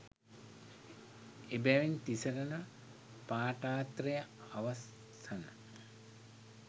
එබැවින් තිසරණ පාඨත්‍රය අවසන